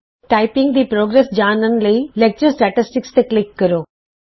ਆਪਣੀ ਟਾਈਪਿੰਗ ਦੀ ਉਨਤੀ ਜਾਣਨ ਲਈ ਲੈਕਚਰ ਅੰਕੜੇ ਤੇ ਕਲਿਕ ਕਰੋ